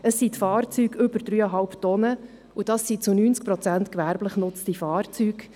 Es sind die Fahrzeuge über 3,5 Tonnen, und das sind zu 90 Prozent gewerblich genutzte Fahrzeuge.